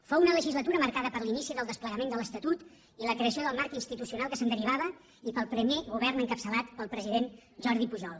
fou una legislatura marcada per l’inici del desplegament de l’estatut i la creació del marc institucional que se’n derivava i pel primer govern encapçalat pel president jordi pujol